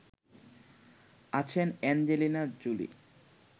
আছেন Angelina Jolie